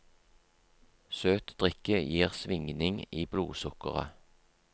Søt drikke gir svingning i blodsukkeret.